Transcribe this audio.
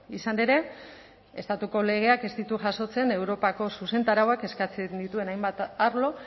izan ere estatuko legeak ez ditu jasotzen europako zuzentarauak eskatzen dituen hainbat arlo